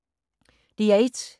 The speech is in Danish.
DR1